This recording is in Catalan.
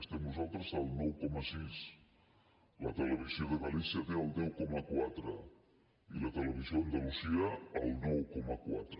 estem nosaltres al nou coma sis la televisió de galícia té el deu coma quatre i la televisió d’andalusia el nou coma quatre